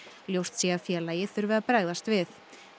ljóst sé að félagið þurfi að bregðast við